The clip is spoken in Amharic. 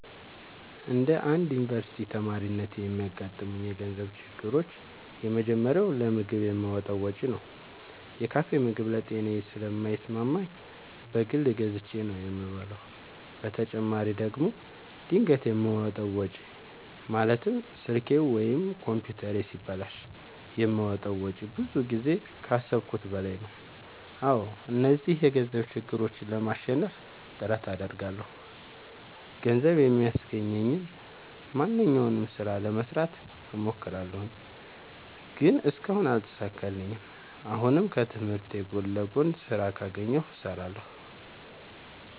እንደ አንድ ዮኒቨርስቲ ተማሪነቴ የሚያጋጥሙኝ የገንዘብ ችግሮች የመጀመሪያው ለምግብ የማወጣው ወጪ ነው። የካፌ ምግብ ለጤናዬ ስለማይስማማኝ በግል ገዝቼ ነው የምበላው በተጨማሪ ደግሞ ድንገት የማወጣው ወጪ ማለትም ስልኬ ወይም ኮምፒውተሬ ሲበላሽ የማወጣው ወጪ ብዙ ጊዜ ከአሠብኩት በላይ ነው። አዎ እነዚህን የገንዘብ ችግሮች ለማሸነፍ ጥረት አደርጋለሁ። ገንዘብ የሚያስገኘኝን ማንኛውንም ስራ ለመስራት እሞክራለሁ። ግን እስካሁን አልተሳካልኝም። አሁንም ከትምህርቴ ጎን ለጎን ስራ ካገኘሁ እሠራለሁ።